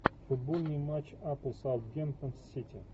футбольный матч апл саутгемптон с сити